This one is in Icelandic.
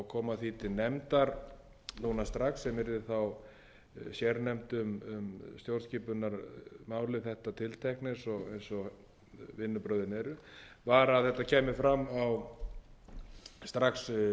koma því til nefndar núna strax sem yrði þá sérnefnd um stjórnarskipunarmál um þetta tiltekna eins og vinnubrögðin eru var að þetta kæmi fram strax í upphafi eða við